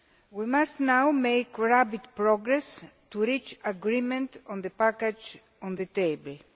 We must now make rapid progress to reach agreement on the package on the table.